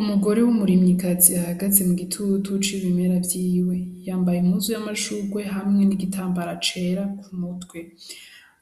Umugore w'umurimyikazi ahagaze mu gitutu c'ibimera vyiwe yambaye imbuzu y'amashurwe hamwe n'igitambara cera ku mutwe